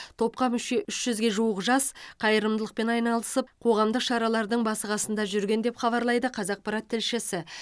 топқа мүше үш жүзге жуық жас қайырымдылықпен айналысып қоғамдық шаралардың басы қасында жүрген деп хабарлайды қазақпарат тілшісі